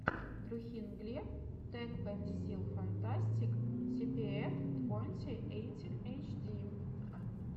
трухин глеб тэкпэнсилфантастик типиэф твонти эйтин эйчди